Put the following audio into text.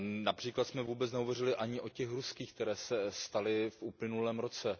Například jsme vůbec nehovořili ani o těch ruských, které se staly v uplynulém roce.